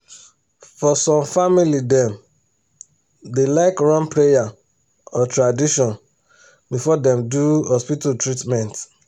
for some family dem da like run prayer or tradition before dem do hospital treatment